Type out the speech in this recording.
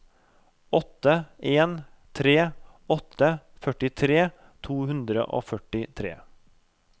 åtte en tre åtte førtitre to hundre og førtitre